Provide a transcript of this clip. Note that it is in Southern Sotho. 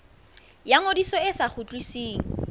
ya ngodiso e sa kgutlisweng